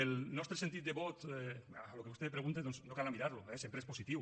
el nostre sentit de vot a allò que vostè pregunta doncs no cal anar a mirar lo eh sempre és positiu